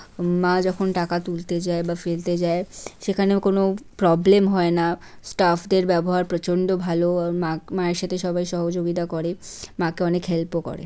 উম মা যখন টাকা তুলতে যায় বা ফেলতে যায় সেখানেও কোনো প্রবলেম হয় না স্টাফদের ব্যবহার প্রচন্ড ভালো আ মাক মায়ের সাথে সবাই সহযোগিতা করে মাকে অনেক হেল্পও করে।